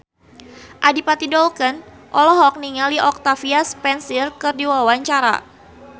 Adipati Dolken olohok ningali Octavia Spencer keur diwawancara